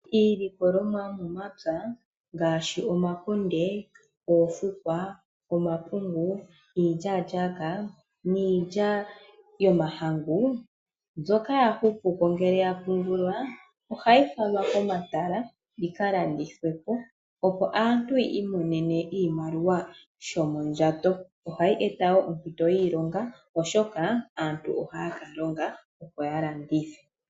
Iilikolomwa yomomapya ngaashi omakunde, oofukwa, omapungu, iilyaalyaka, niilya yomahangu mbyoka ya hupupo ngele ya pungulwa, ohayi falwa komatala yikalandithwe po opo aantu yiimonene mo oshimaliwa shomondjato. Ohayi eta wo ompinto yiilonga oshoka aantu ohaya ka longa opo ya landithe.